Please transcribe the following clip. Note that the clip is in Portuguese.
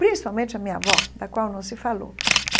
Principalmente a minha avó, da qual não se falou.